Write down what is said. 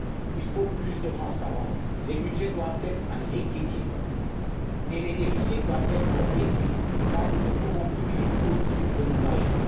Il faut plus de transparence, les budgets doivent être à l'équilibre et les déficits doivent être réduits car nous ne pouvons plus vivre au dessus de nos moyens.